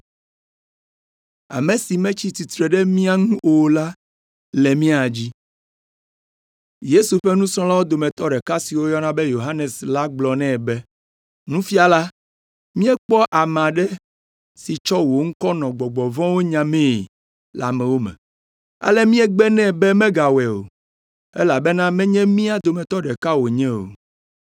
Yesu ƒe nusrɔ̃lawo dometɔ ɖeka si woyɔna be Yohanes la gblɔ nɛ be, “Nufiala, míekpɔ ame aɖe si tsɔ wò ŋkɔ nɔ gbɔgbɔ vɔ̃wo nyamee le amewo me. Ale míegbe nɛ be megawɔe o, elabena menye mía dometɔ ɖeka wònye o.”